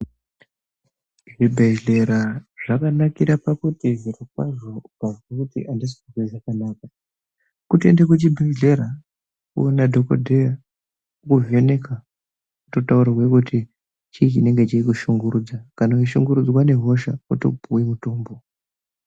Zvibhedhlera zvakanakira pakuti zvirokwazvo ukazwe kuti andisi kuzwa zvakanaka kutoenda kuchibhedhlera woona dhokodheya wovheneka wototaurirwe kuti chii chinenge cheikushungurudza kana weishungurudzwa ngehosha wotopuwa mutumbo.